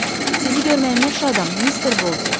Sizi görməyimə şadam, Mister Boldin.